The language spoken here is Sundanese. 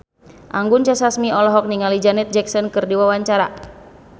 Anggun C. Sasmi olohok ningali Janet Jackson keur diwawancara